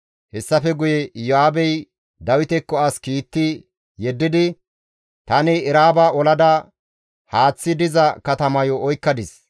Hessafe guye Iyo7aabey Dawitekko as kiitti yeddidi, «Tani Eraaba olada haaththi diza katamayo oykkadis;